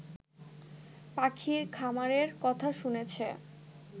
পাখির খামারের কথা শুনেছে